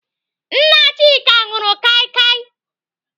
Nna Chika nụrụ kaikai.